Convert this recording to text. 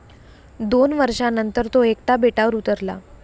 दोन वर्षानंतर तो एकटा बेटावर उतरला.